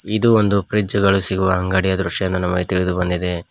ಇದು ಒಂದು ಫ್ರಿಡ್ಜ್ ಗಳು ಸಿಗುವ ಅಂಗಡಿಯ ದೃಶ್ಯ ನಮಗೆ ತಿಳಿದು ಬಂದಿದೆ.